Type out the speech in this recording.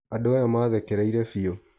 andũ aya mathekereire biũ.